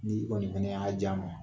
N'i kɔni fana y'a ja ma